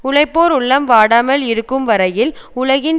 உழைப்போர் உள்ளம் வாடாமல் இருக்கும் வரையில் உலகின்